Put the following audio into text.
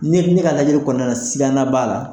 Ni ne ka lajɛli kɔnɔna na sigana b'a la.